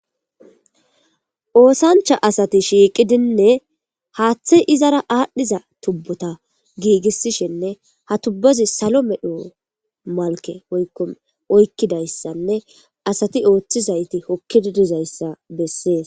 Oosancha asati shiiqidinne haaththe izara aadhdhiza tubbota giigissishinne ha tubbozi salo medho malke oykkom oykkidayssanne asati ooththizayti hokkididizayssa bessees